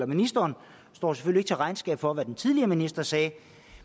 ministeren står selvfølgelig ikke til regnskab for hvad den tidligere minister sagde